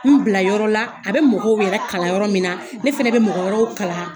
N bila yɔrɔ la, a bɛ mɔgɔw yɛrɛ kalan yɔrɔ min na . Ne fana bɛ mɔgɔ wɛrɛw kalan.